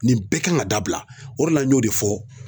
Nin bɛɛ kan ka dabila o de la n y'o de fɔ